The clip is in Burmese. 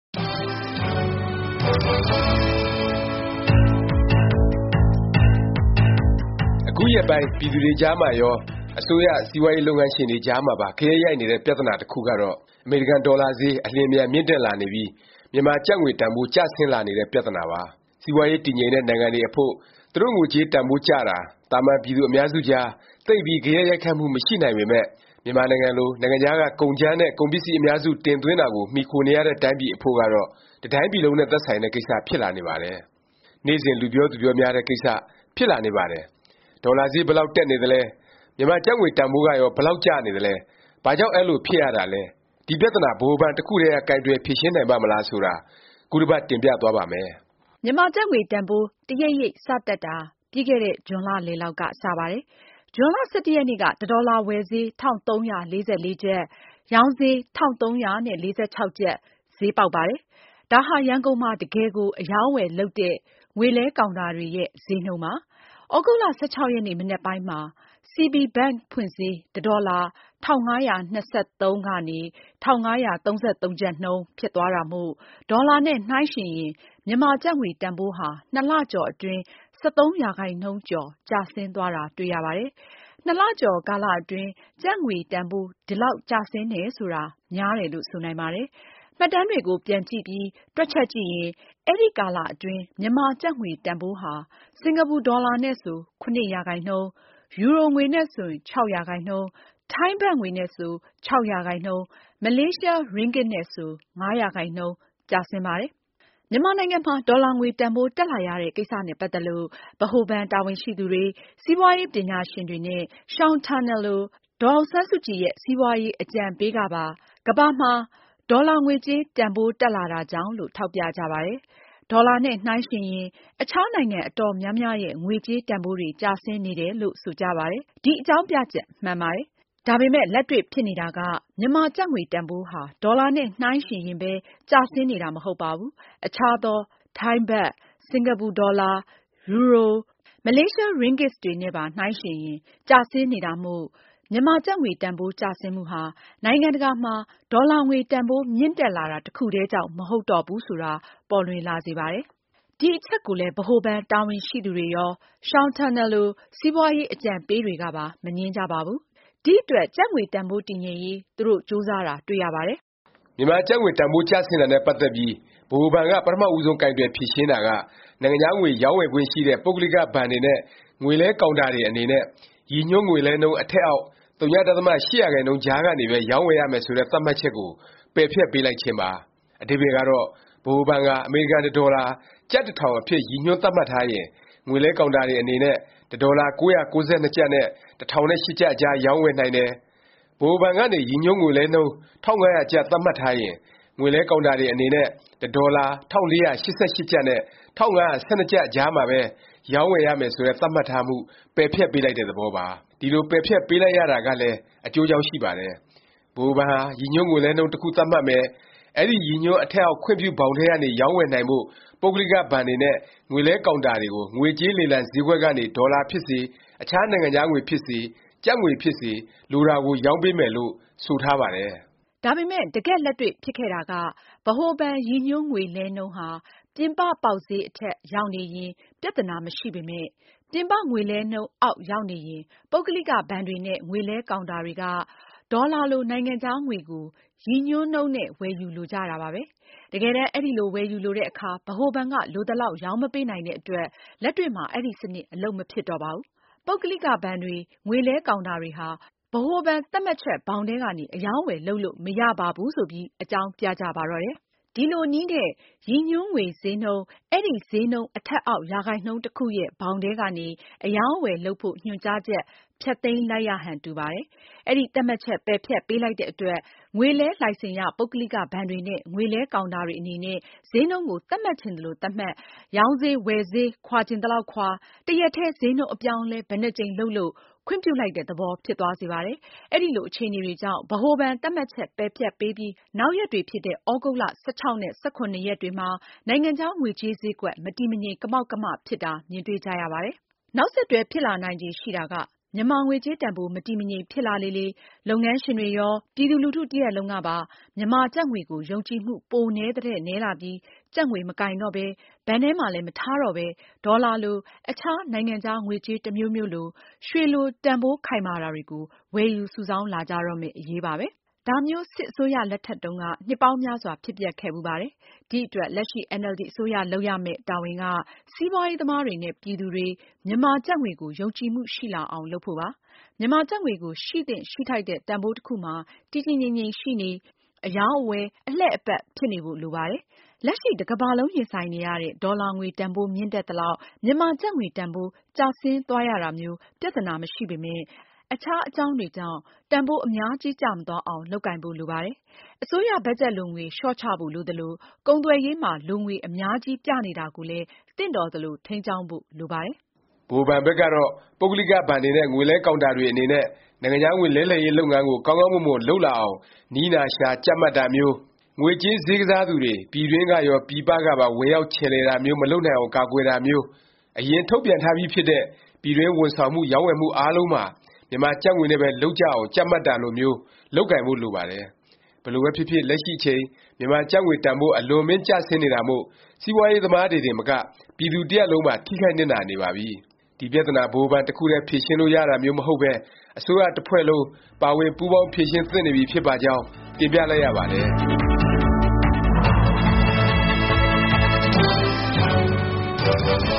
အခုရက်ပိုင်း ပြည်သူတွေကြားမှာရော၊ အစိုးရ၊ စီးပွားရေး လုပ်ငန်းရှင်တွေကြားမှာပါ ဂယက်ရိုက်ခတ်နေတဲ့ ပြသနာတခုကတော့ အမေရိကန် ဒေါ်လာဈေး အလျင်အမြန် မြင့်တက်လာနေပြီး မြန်မာကျပ်ငွေ တန်ဘိုး ကျဆင်းလာနေတဲ့ ပြသနာပါ။ စီးပွားရေး တည်ငြိမ်တဲ့ နိုင်ငံတွေအဖို့ သူတို့ငွေကြေး တန်ဘိုးကျတာ သာမန်ပြည်သူ အများစုကြား သိပ်ပြီး ဂယက်ရိုက်ခတ်မှု မရှိနိုင်ပေမယ့် မြန်မာနိုင်ငံလို နိုင်ငံခြားက ကုန်ကြမ်းနဲ့ ကုန်ပစ္စည်း အများစု တင်သွင်းတာကို မှီခိုနေရတဲ့ တိုင်းပြည်အဖို့ကတော့ တတိုင်းပြည်လုံးနဲ့ သက်ဆိုင်တဲ့ ကိစ္စ ဖြစ်လာနေပါတယ်။ နေ့စဉ် လူပြောသူပြောများတဲ့ ကိစ္စ ဖြစ်လာနေပါတယ်။ ဒေါ်လာဈေး ဘယ်လောက် တက်နေသလဲ၊ မြန်မာကျပ်ငွေတန်ဘိုးကရော ဘယ်လောက် ကျနေသလဲ၊ ဘာကြောင့် အဲလို ဖြစ်ရတာလဲ၊ ဒီ ပြသနာ ဗဟိုဘဏ် တခုတည်းက ကိုင်တွယ် ဖြေရှင်းနိုင်ပါ့မလား ဆိုတာ ခုတပတ် တင်ပြသွားပါ့မယ်။ မြန်မာကျပ်ငွေ တန်ဘိုး တစ်ရိပ်ရိပ် စ တက်တာ ပြီးခဲ့တဲ့ ဇွန်လလယ်လောက်က စပါတယ်။ ဇွန်လ ၁၁ ရက်နေ့က တစ်ဒေါ်လာ ဝယ်ဈေး ၁၃၄၄ ကျပ်၊ ရောင်းဈေး ၁၃၄၆ ကျပ် ဈေးပေါက်ပါတယ်။ ဒါဟာ ရန်ကုန်မှာ တကယ်ကို အရောင်းအဝယ်လုပ်တဲ့ ငွေလဲကောင်တာတွေရဲ့ ဈေးနှုန်းပါ။ သြဂုတ်လ ၁၆ ရက်နေ့ မနက်ပိုင်းမှာ CB Bank ဖွင့်ဈေး တဒေါ်လာ ၁၅၂၃- ၁၅၃၃ နှုန်း ဖြစ်သွားတာမို့ ဒေါ်လာနဲ့ နှိုင်းယှဉ်ရင် မြန်မာကျပ်ငွေ တန်ဘိုးဟာ ၂ လကျော် အတွင်း ၁၃% ကျော် ကျဆင်းသွားတာ တွေ့ရပါတယ်။ နှစ်လကျော် ကာလ အတွင်း ကျပ်ငွေတန်ဘိုး ဒီလောက် ကျဆင်းတယ် ဆိုတာ များတယ်လို့ ဆိုနိုင်ပါတယ်။ မှတ်တမ်းတွေကို ပြန်ကြည့်ပြီး တွက်ချက်ကြည့်ရင် အဲဒီ ကာလအတွင်း မြန်မာကျပ်ငွေတန်ဘိုးဟာ စင်္ကာပူဒေါ်လာနဲ့ဆို ၇%၊ ယူရိုငွေနဲ့ဆို ၆ %၊ ထိုင်းဘတ်ငွေနဲ့ဆို ၆%၊ မလေးရှားရင်းဂစ်နဲ့ဆို ၅ % ကျဆင်းပါတယ်။ မြန်မာနိုင်ငံမှာ ဒေါ်လာငွေ တန်ဘိုး တက်လာရတဲ့ ကိစ္စနဲ့ ပတ်သက်လို့ ဗဟိုဘဏ် တာဝန်ရှိသူတွေ၊ စီးပွားရေး ပညာရှင်တွေနဲ့ Sean Turnell လို ဒေါ်အောင်ဆန်းစုကြည်ရဲ့ စီးပွားရေး အကြံပေး ကပါ ကမ္ဘာမှာ ဒေါ်လာငွေကြေး တန်ဘိုး တက်လာတာကြောင့်လို့ ထောက်ပြကြပါတယ်။ ဒေါ်လာနဲ့ နှိုင်းယှဉ်ရင် အခြားနိုင်ငံ အတော်များများရဲ့ ငွေကြေး တန်ဘိုးတွေ ကျဆင်းနေတယ်လို့ ဆိုကြပါတယ်။ ဒီအကြောင်းပြချက် မှန်ပါတယ်။ ဒါပေမယ့် လက်တွေ့ ဖြစ်နေတာက မြန်မာကျပ်ငွေတန်ဘိုးဟာ ဒေါ်လာနဲ့ နှိုင်းယှဉ်ရင်ပဲ ကျဆင်းနေတာ မဟုတ်ပါဘူး။ အခြားသော ထိုင်းဘတ်၊ စင်္ကာပူဒေါ်လာ၊ ယူရို၊ မလေးရှားရင်းဂစ်တွေနဲ့ နှိုင်းရင်ပါ ကျဆင်းနေတာမို့ မြန်မာကျပ်ငွေ တန်ဘိုး ကျဆင်းမှုဟာ နိုင်ငံတကာမှာ ဒေါ်လာငွေ တန်ဘိုး မြင့်တက်လာတာ တခုတည်းကြောင့် မဟုတ်တော့ဘူးဆိုတာ ပေါ်လွင်လာစေပါတယ်။ ဒီအချက်ကိုလည်း ဗဟိုဘဏ် တာဝန်ရှိသူတွေရော၊ ရှောင်န်တာနယ်လို စီးပွားရေး အကြံပေးတွေကပါ မငြင်းကြပါဘူး။ ဒီအတွက် ကျပ်ငွေတန်ဘိုး တည်ငြိမ်ရေး သူတို့ ကြိုးစားတာ တွေ့ရပါတယ်။ မြန်မာကျပ်ငွေတန်ဘိုး ကျဆင်းတာနဲ့ ပတ်သက်ပြီး ဗဟိုဘဏ်က ပထမဦးဆုံး ကိုင်တွယ်ဖြေရှင်းတာက နိုင်ငံခြားငွေ ရောင်းဝယ်ခွင့်ရှိတဲ့ ပုဂ္ဂလိက ဘဏ်တွေနဲ့ ငွေလဲ ကောင်တာတွေ အနေနဲ့ ရည်ညွှန်း ငွေလဲနှုန်း အထက်အောက် ဝ.၈% ကြားကနေပဲ ရောင်းဝယ်ရမယ် ဆိုတဲ့ သတ်မှတ်ချက်ကို ပယ်ဖျက်ပေးလိုက်ခြင်းပါ။ အဓိပ္ပါယ်ကတော့ ဗဟိုဘဏ်ဟာ အမေရိကန် တဒေါ်လာ ကျပ် ၁၀၀၀ အဖြစ် ရည်ညွှန်းသတ်မှတ်ထားရင် ငွေလဲကောင်တာတွေ အနေနဲ့ တဒေါ်လာ ၉၉၂ ကျပ် နဲ့ ၁၀၀၈ အကြား ရောင်းဝယ်နိုင်တယ်၊ ဗဟိုဘဏ်ကနေ ရည်ညွှန်းငွေလဲနှုန်း ၁၅၀၀ ကျပ် သတ်မှတ်ထားရင် ငွေလဲကောင်တာတွေ အနေနဲ့ တဒေါ်လာ ၁၄၈၈ ကျပ်နဲ့ ၁၅၁၂ ကျပ်အကြား ပဲ ရောင်းဝယ်ရမယ် ဆိုတဲ့ သတ်မှတ်ထားမှု ပယ်ဖျက်ပေးလိုက်တဲ့ သဘောပါ။ ဒီလို ပယ်ဖျက်ပေးလိုက်ရတာကလဲ အကျိုးအကြောင်း ရှိပါတယ်။ ဗဟိုဘဏ်ဟာ ရည်ညွှန်းငွေလဲနှုန်း တခု သတ်မှတ်မယ်၊ အဲဒီ ရည်ညွှန်း အထက်အောက် ခွင့်ပြု ဘောင်ထဲကနေ ရောင်းဝယ်နိုင်ဖို့ ပုဂ္ဂလိက ဘဏ်တွေနဲ့ ငွေလဲကောင်တာတွေကို ငွေကြေး လေလံ ဈေးကွက်ကနေ ဒေါ်လာဖြစ်စေ၊ အခြား နိုင်ငံခြားငွေဖြစ်စေ၊ ကျပ်ငွေ ဖြစ်စေ လိုတာကို ရောင်းပေးမယ်လို့ ဆိုပါတယ်။ ဒါပေမယ့် တကယ့်လက်တွေ့ဖြစ်ခဲ့တာက ဗဟိုဘဏ် ရည်ညွှန်းငွေလဲနှုန်းဟာ ပြင်ပ ပေါက်ဈေး အထက် ရောက်နေရင် ပြသနာ မရှိပေမယ့် ပြင်ပ ငွေလဲနှုန်းအောက် ရောက်နေရင် ပုဂ္ဂလိက ဘဏ်တွေနဲ့ ငွေလဲကောင်တာတွေက ဒေါ်လာလို နိုင်ငံခြားငွေကို ရည်ညွှန်းနှုန်းနဲ့ ဝယ်ယူလိုကြတာပါပဲ။ တကယ်တန်း အဲလို ဝယ်ယူလိုတဲ့အခါ ဗဟိုဘဏ်က လိုသလောက် ရောင်းမပေးနိုင်တဲ့အတွက် လက်တွေ့မှာ အဲဒီစနစ် အလုပ်မဖြစ်တော့ပါဘူး။ ပုဂ္ဂလိကတွေ၊ ငွေလဲကောင်တာတွေဟာ ဗဟိုဘဏ် သတ်မှတ်ချက် ဘောင်ထဲကနေ အရောင်းအဝယ် လုပ်လို့ မရပါဘူး ဆိုပြီး အကြောင်းပြကြပါတော့တယ်။ ဒီလိုနည်းနဲ့ ရည်ညွှန်းငွေဈေးနှုန်း၊ အဲဒီ ဈေးနှုန်း အထက်အောက် ရာခိုင်နှုန်း တခုရဲ့ ဘောင်ထဲကနေ အရောင်းအဝယ် လုပ်ဖို့ ညွှန်ကြားချက် ဖျက်သိမ်းလိုက်ရဟန် တူပါတယ်။ အဲဒီ သတ်မှတ်ချက် ပယ်ဖျက်ပေးလိုက်တဲ့အတွက် ငွေလဲ လိုင်စင်ရ ပုဂ္ဂလိကဘဏ်တွေနဲ့ ငွေလဲကောင်တာတွေ အနေနဲ့ ဈေးနှုန်းကို သတ်မှတ်ချင်သလို သတ်မှတ်၊ ရောင်းဈေး ဝယ်ဈေး ခွာချင်သလောက်ခွာ၊ တစ်ရက်တည်း ဈေးနှုန်းအပြောင်းအလဲ ဘယ်နှစ်ကြိမ်လုပ်လုပ် ခွင့်ပြုလိုက်တဲ့သဘော ဖြစ်သွားစေပါတယ်။ အဲလို အခြေအနေတွေကြောင့် ဗဟိုဘဏ်သတ်မှတ်ချက် ပယ်ဖျက်ပေးပြီး နောက်ရက်တွေဖြစ်တဲ့ သြဂုတ်လ ၁၆ နဲ့ ၁၇ ရက်နေ့တွေမှာ နိုင်ငံခြား ငွေကြေးဈေးကွက်၊ မတည်မငြိမ် ကမောက်ကမ ဖြစ်တာ မြင်တွေ့ကြရပါတယ်။ နောက်ဆက်တွဲ ဖြစ်လာနိုင်ခြေ ရှိတာက မြန်မာငွေကြေး တန်ဘိုး မတည်မငြိမ် ဖြစ်လေလေ လုပ်ငန်းရှင်တွေရော၊ ပြည်သူလူထု တစ်ရပ်လုံးကပါ မြန်မာကျပ်ငွေကို ယုံကြည်မှု ပိုနည်းသထက် နည်းလာပြီး ကျပ်ငွေ မကိုင်တော့ပဲ၊ ဘဏ်ထဲမှာလည်း မထားတော့ပဲ ဒေါ်လာလို၊ အခြား နိုင်ငံခြားငွေကြေး တစ်မျိုးမျိုးလို၊ ရွှေလို တန်ဘိုး ခိုင်မာတာတွေကို ဝယ်ယူ စုဆောင်းလာကြတော့မယ့် အရေးပါပဲ။ ဒါမျိုး စစ်အစိုးရ လက်ထက်တုန်းက နှစ်ပေါင်းများစွာ ဖြစ်ပျက်ခဲ့ဖူးပါတယ်။ ဒီအတွက် လက်ရှိ NLD အစိုးရ လုပ်ရမယ့် တာဝန်က စီးပွားရေးသမားတွေနဲ့ ပြည်သူတွေ မြန်မာကျပ်ငွေကို ယုံကြည်မှုရှိလာအောင် လုပ်ဖို့ပါ။ မြန်မာကျပ်ငွေကို ရှိသင့်ရှိထိုက်တဲ့ တန်ဘိုးတစ်ခုမှာ တည်တည်ငြိမ် ရှိနေ၊ အရောင်းအဝယ် အလှည့်အပတ် ဖြစ်နေဖို့ လိုပါတယ်။ လက်ရှိ တကမ္ဘာလုံး ရင်ဆိုင်နေရတဲ့ ဒေါ်လာငွေတန်ဘိုး မြင့်တက်သလောက် မြန်မာကျပ်ငွေ တန်ဘိုး ကျဆင်းသွားရတာမျိုး ပြသနာ မရှိပေမယ့် အခြား အကြောင်းတွေကြောင့် တန်ဘိုး အများကြီး ကျမသွားအောင် လုပ်ကိုင်ဖို့ လိုပါတယ်။ အစိုးရ ဘတ်ဂျက်လိုငွေ လျော့ချဖို့ လိုသလို၊ ကုန်သွယ်ရေးမှာ လိုငွေ အများကြီး ပြနေတာကိုလည်း သင့်တော်သလို ထိန်းကျောင်းဖို့ လိုပါတယ်။ ဗဟိုဘဏ်ဘက်ကတော့ ပုဂ္ဂလိက ဘဏ်တွေနဲ့ ငွေလဲကောင်တာတွေ အနေနဲ့ နိုင်ငံခြားငွေ လဲလှယ်ရေး လုပ်ငန်းကို ကောင်းကောင်းမွန်မွန် လုပ်လာအောင် နည်းနာရှာ ကြပ်မတ်တာမျိုး၊ ငွေကြေးဈေးကစားသူတွေ ပြည်တွင်းကရော၊ ပြည်ပကပါ ဝင်ရောက် ချယ်လှယ်တာမျိုး မလုပ်နိုင်အောင် ကာကွယ်တာမျိုး၊ အရင် ထုတ်ပြန်ထားပြီးဖြစ်တဲ့ ပြည်တွင်း ဝန်ဆောင်မှု၊ ရောင်းဝယ်မှု အားလုံးမှာ မြန်မာကျပ်ငွေနဲ့ပဲ လုပ်ကြအောင် ကြပ်မတ်တာလိုမျိုး လုပ်ကိုင်ဖို့ လိုပါတယ်။ ဘယ်လိုပဲဖြစ်ဖြစ် လက်ရှိအချိန် မြန်မာကျပ်ငွေတန်ဘိုး အလွန်အမင်း ကျဆင်းနေတာမို့ စီးပွားရေးသမားတွေတင်မက ပြည်သူ တစ်ရပ်လုံးပါ ထိခိုက်နစ်နာနေပါပြီ။ ဒီပြသနာ ဗဟိုဘဏ် တစ်ခုတည်း ဖြေရှင်းလို့ ရတာမျိုး မဟုတ်ပဲ အစိုးရ တဖွဲ့လုံး ပါဝင်ပူးပေါင်း ဖြေရှင်းသင့်နေပြီ ဖြစ်ပါကြောင်း တင်ပြလိုက်ရပါတယ်